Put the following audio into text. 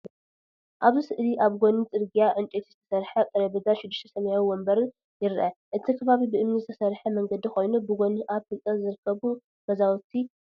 ኣብዚ ስእሊ ኣብ ጎኒ ጽርግያ ዕንጨይቲ ዝተሰርሐ ጠረጴዛን ሽዱሽተ ሰማያዊ መንበርን ይርአ። እቲ ከባቢ ብእምኒ ዝተሰርሐ መንገዲ ኮይኑ፡ ብጎኒ ኣብ ህንጸት ዝርከቡ ገዛውቲ ኣለዉ።